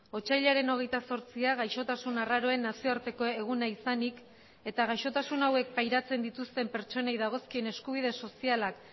otsailaren hogeita zortzia gaixotasun arraroen nazioarteko eguna izanik eta gaixotasun hauek pairatzen dituzten pertsonei dagozkien eskubide sozialak